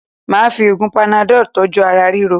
Máà fi oògùn panadọ́ọ̀ tọ́jú ara ríro